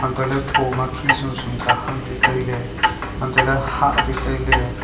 atoh ley tho ma khi sum sum ka ham chu tailey hantoh ley hah chu tailey.